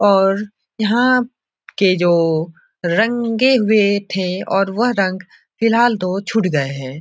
और यहाँ के जो रंगे हुए थे और वह रंग फिलहाल तो छूट गए है।